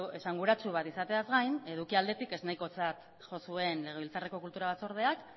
esanguratsu bat izateaz gain eduki aldetik ez nahikotzat jo zuen legebiltzarreko kultura batzordeak